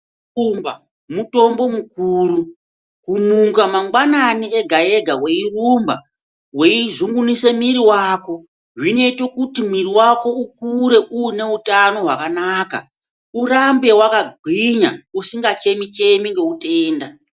Kurumba mutombo mukuru, kumuka mangwanani ega ega weirumba weizununguse mwiri wako zvinoite kuti mwiri wako ukure uine utano hwakanaka urambe wakagwinya usingachemi chemi ngeutenda.